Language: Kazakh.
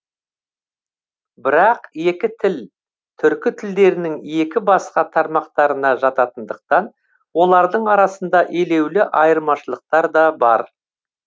бірақ екі тіл түркі тілдерінің екі басқа тармақтарына жататындықтан олардың арасында елеулі айырмашылықтар да бар